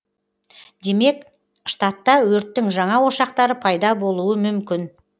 демек штатта өрттің жаңа ошақтары пайда болуы мүмкін